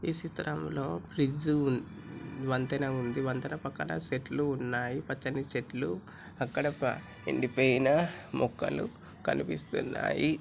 ఈ చిత్రం లో ఫ్రిడ్జ్ ఉ ఉన్ వంతెన ఉంది. వంతెన పక్కన సెట్లు ఉన్నాయి. పచ్చని చెట్లు అక్కడ ప ఎండిపోయిన మొక్కలు --